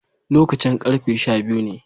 Lokacin karfe sha biyu ne